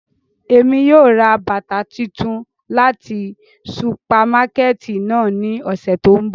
Emi yóò ra bata tuntun lati supamakẹti náa ni ọsẹ to nbọ.